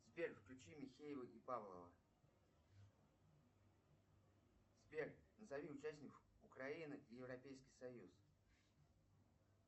сбер включи михеева и павлова сбер назови участников украины европейский союз